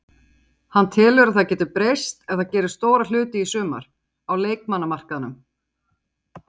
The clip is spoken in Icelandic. Hann telur að það geti breyst ef það gerir stóra hluti í sumar, á leikmannamarkaðnum.